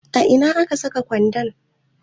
A ina ne aka dasa gwanda?